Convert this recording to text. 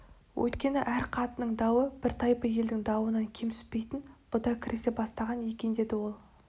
өйткені әр қатынының дауы бір тайпы елдің дауынан кем түспейтін бұ да кірісе бастаған екендеді ол